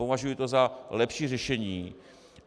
Považuji to za lepší řešení.